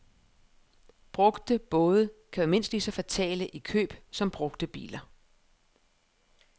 Brugte både kan være mindst lige så fatale i køb som brugte biler.